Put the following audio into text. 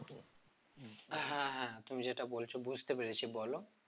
হ্যাঁ হ্যাঁ তুমি যেটা বলছো বুঝতে পেরেছি বলো